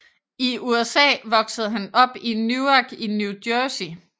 I USA voksede han op i i Newark i New Jersey